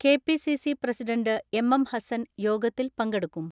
K P C C president M M Hassan യോഗത്തിൽ പങ്കെടുക്കും.